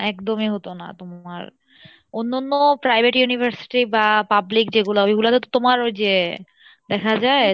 একদমই হতো না তোমার অন্যন্য private university বা public যেগুলো ওইগুলো তে তো তোমার ওইযে দেখা যাই,